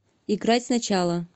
играть сначала